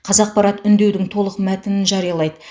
қазақпарат үндеудің толық мәтінін жариялайды